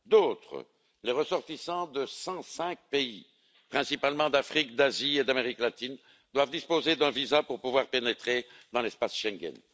D'autres, les ressortissants de 105 pays, principalement d'Afrique, d'Asie et d'Amérique latine, doivent disposer d'un visa pour pouvoir pénétrer dans l'espace Schengen.